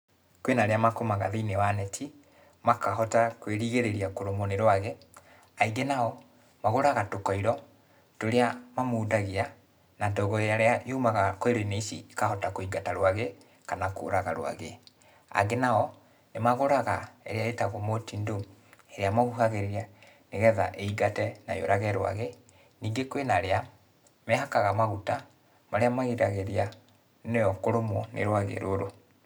Kwĩna arĩa makomaga thĩiniĩ wa neti, makahota kwĩrigĩrĩria kũrũmwo nĩ rwagĩ. Aingĩ nao, magũraga tũkoiro, tũrĩa mamundagia, na ndogo ĩrĩa yumaga koiro-inĩ ici ikahota kũigata rwagĩ, kana kũraga rwagĩ. Angĩ nao, nĩmagũraga, ĩrĩa ĩtagũo Mortein Doom, ĩrĩa mahuhagĩrĩria nĩgetha ĩingate na yũrage rwagĩ. Ningĩ kwĩna arĩa, mehakaga maguta, marĩa magiragĩrĩria nĩyo kũrũmwo nĩ rwagĩ rũrũ.